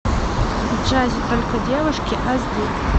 в джазе только девушки аш ди